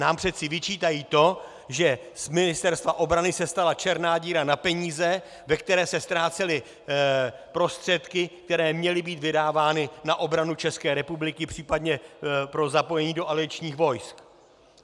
Nám přece vyčítají to, že z Ministerstva obrany se stala černá díra na peníze, ve které se ztrácely prostředky, které měly být vydávány na obranu České republiky, případně pro zapojení do aliančních vojsk.